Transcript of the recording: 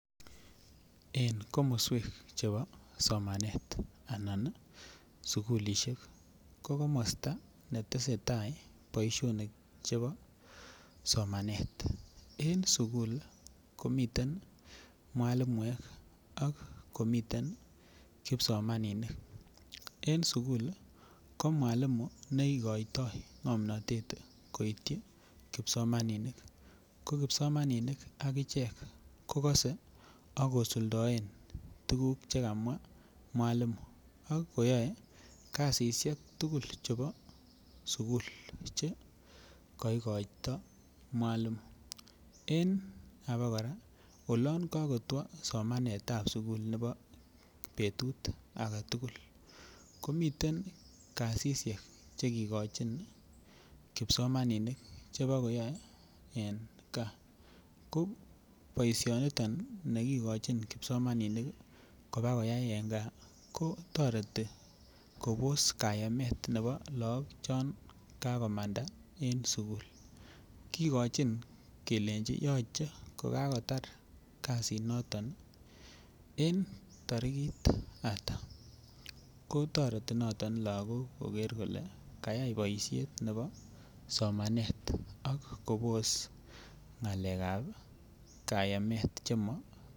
En komoswek chebo somanet anan sukulisiek ko komosta ne tesetai boisionik chebo somanet en sukul komiten mwalimuek ak komiten kipsomaninik mwalimuek ko igoitoi ngomnatet koityi kipsomaninik ko kipsomaninik agichek ko kosei ak kosuldaen tuguk Che kamwa mwalimu ak koyoe kasisyek tugul chebo sukul Che koigoito mwalimu en abakora ko olon kakotwo somanet ab kila betut age tugul komiten kasisyek Che kigochin kipsomaninik Che bo koyoe en gaa ko boisionito kigochin kipsomaninik koba koyai en gaa kotoreti kobos kayemet ab lagok yon kagomanda en sukul kigochin ak kelenji yoche kotar kasiniton en tarikit ainon ko toreti niton koker kole kayai boisiet nebo somanet ak kobos ngalekab kayemet